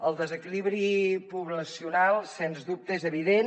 el desequilibri poblacional sens dubte és evident